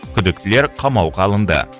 күдіктілер қамауға алынды